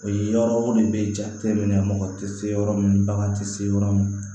O ye yɔrɔ o de bɛ jate minɛ mɔgɔ tɛ se yɔrɔ min bagan tɛ se yɔrɔ min